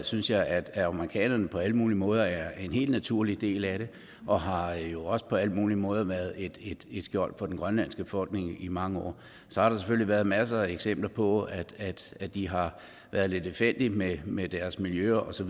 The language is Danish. synes jeg at amerikanerne på alle mulige måder er en helt naturlig del af det og har jo også på alle mulige måder været et skjold for den grønlandske befolkning i mange år så har der selvfølgelig været masser af eksempler på at at de har været lidt lemfældige med med miljøet og så